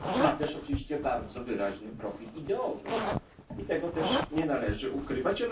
Ma też oczywiście bardzo wyraźny profil ideowy i tego też nie należy ukrywać.